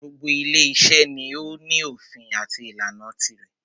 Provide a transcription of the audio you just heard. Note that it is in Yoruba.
Gbogbo ile iṣẹ́ ni o ní òfin àti ìlànà tirẹ̀.